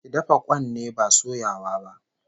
Ki dafa kwan ne, ba soyawa ba